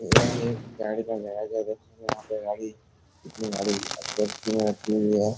यह एक गाड़ी का गैराज है। देखिये यहाँ पे गाड़ी कितनी गाड़ी में रखी हुई है।